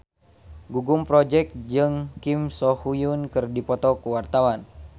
Gugum Project Pop jeung Kim So Hyun keur dipoto ku wartawan